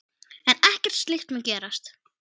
En ekkert slíkt mun gerast.